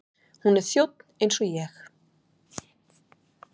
Hún er þjónn eins og ég.